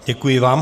Děkuji vám.